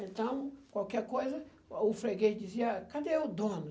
Então, qualquer coisa, o freguês dizia, cadê o dono?